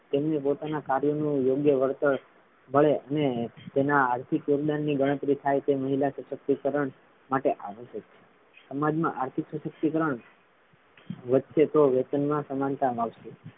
તેમને પોતાના કાર્યનું યોગ્ય વળતર મળે અને તેમના આર્થિક યોગદાન ની ગણતરી થાય તે મહિલા સશક્તિકરણ માટે આવશ્યક છે સમાજ માં આર્થિક સશક્તિકરણ વધશે તો વેતનમા સમાનતા લાવશે.